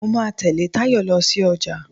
Mo máa tẹ̀lé Tayo lọ sí ọjà.